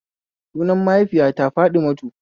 sunan mahaifiyata Fatimatu